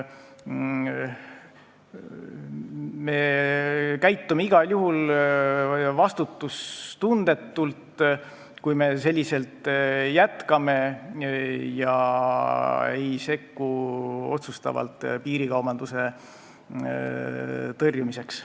Me käitume igal juhul vastutustundetult, kui me selliselt jätkame ega sekku otsustavalt, et piirikaubandust tõrjuda.